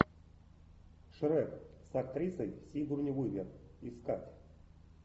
шрек с актрисой сигурни уивер искать